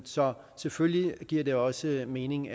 så selvfølgelig giver det også mening